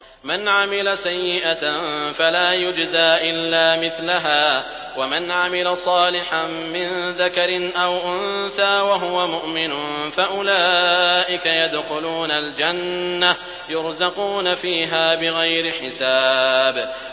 مَنْ عَمِلَ سَيِّئَةً فَلَا يُجْزَىٰ إِلَّا مِثْلَهَا ۖ وَمَنْ عَمِلَ صَالِحًا مِّن ذَكَرٍ أَوْ أُنثَىٰ وَهُوَ مُؤْمِنٌ فَأُولَٰئِكَ يَدْخُلُونَ الْجَنَّةَ يُرْزَقُونَ فِيهَا بِغَيْرِ حِسَابٍ